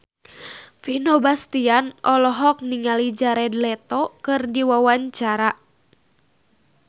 Vino Bastian olohok ningali Jared Leto keur diwawancara